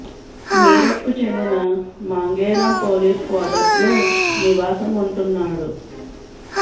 మీరట్కు చెందిన Mangeram police quarters లో నివాసం ఉంటున్నాడు